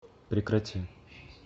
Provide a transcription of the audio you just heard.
прекрати